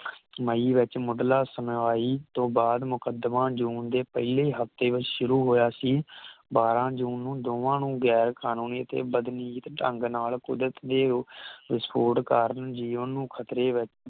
ਮਾਈ ਵਿਚ ਮੁਢਲਾ ਸੁਣਵਾਈ ਤੋਂ ਬਾਅਦ ਮੁਕਦਮਾ ਜੂਨ ਦੇ ਪਹਿਲੇ ਈ ਹਫਤੇ ਵਿਚ ਸ਼ੁਰੂ ਹੋਇਆ ਸੀ ਬਾਰਾਂ ਜੂਨ ਨੂੰ ਦੋਵਾਂ ਨੂੰ ਗੈਰ ਕਾਨੂੰਨੀ ਅਤੇ ਬਦਮੀਜੀਤ ਢੰਗ ਨਾਲ ਕੁਦਰਤ ਦੇ ਵਿਸਫੋਟ ਕਰਨ ਜੀਵਨ ਨੂੰ ਖਤਰੇ ਵਿਚ